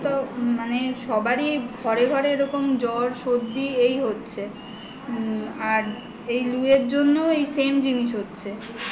এখন তো মানে সবারই ঘরে ঘরে এরকম জ্বর সর্দি এই হচ্ছে আর এই লু এর জন্য এই same জিনিস হচ্ছে